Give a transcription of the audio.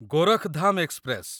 Gorakhdham express